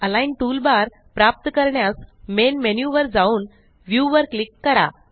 align toolbar प्राप्त करण्यास main menu वर जाऊन व्ह्यू वर क्लिक करा